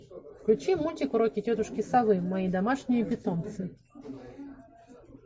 включи мультик уроки тетушки совы мои домашние питомцы